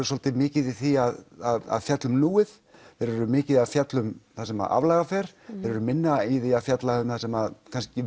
svolítið mikið í því að fjalla um núið þeir eru mikið að fjalla um það sem aflaga fer þeir eru minna í því að fjalla um það sem